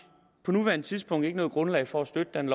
på nuværende tidspunkt ikke noget grundlag for at støtte det